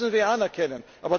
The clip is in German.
Das müssen wir anerkennen.